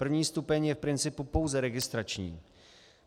První stupeň je v principu pouze registrační.